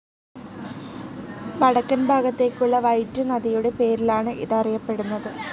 വടക്കൻ ഭാഗത്തേക്കുള്ള വൈറ്റ്‌ നദിയുടെ പേരിലാണ് ഇത് അറിയപ്പെടുന്നത്.